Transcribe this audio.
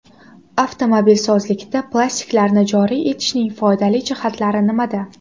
Avtomobilsozlikda plastiklarni joriy etishning foydali jihatlari nimada?